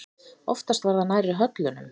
Oftast var það nærri höllunum.